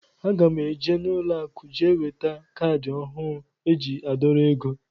Aga mụ eje n' ụlọ akụ jee weta caadi ọhụụ eji adorọ égo.